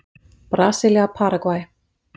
Brasilía- Paragvæ